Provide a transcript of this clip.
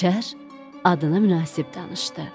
Şər adına münasib danışdı.